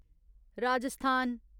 Rajasthan